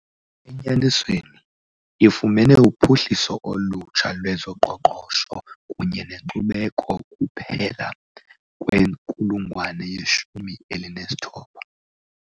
Enyanisweni, ifumene uphuhliso olutsha lwezoqoqosho kunye nenkcubeko kuphela kwinkulungwane yeshumi elinesithoba.